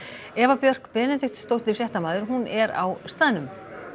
Eva Björk Benediktsdóttir fréttamaður er á staðnum